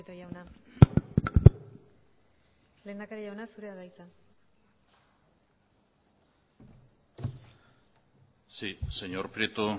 jauna lehendakari jauna zurea da hitza sí señor prieto